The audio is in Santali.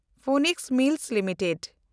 Phoenix Mills limited